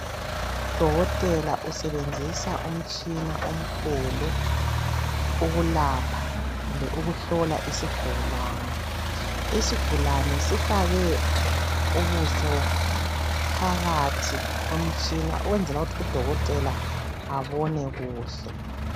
Udokotela usebenzisa umtshina omkhulu okulapha kumbe ukuhlola isigulane isigulane sifake ubuso phakathi komtshina ukwenzela ukuthi udokotela abone kuhle.